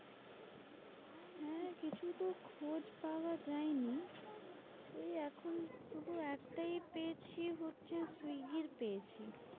খোঁজ পাওয়া যায়নি ওই এখন শুধু একটাই পেয়েছি হচ্ছে সুই গির পেয়েছি।